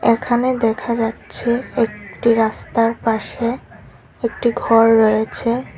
এখানে দেখা যাচ্ছে একটি রাস্তার পাশে একটি ঘর রয়েছে।